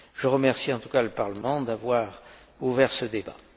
Je remercie en tout cas le Parlement d'avoir ouvert ce débat.